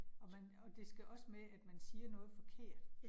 Og man, og det skal også med, at man siger noget forkert